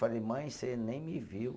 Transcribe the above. Falei, mãe, você nem me viu.